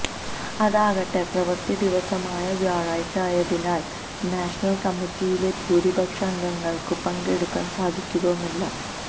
അതാകട്ടെ പ്രവര്ത്തി ദിവസമായ വ്യാഴാഴ്ച ആയതിനാല് നാഷണല് കമ്മിറ്റിയിലെ ഭൂരിപക്ഷം അംഗങ്ങള്ക്കും പങ്കെടുക്കാന് സാധിക്കുകയുമില്ല